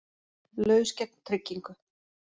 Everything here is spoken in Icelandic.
Laus gegn tryggingu